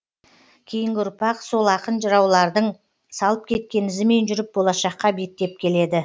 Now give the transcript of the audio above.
кейінгі ұрпақ сол ақын жыраулардың салып кеткен ізімен жүріп болашаққа беттеп келеді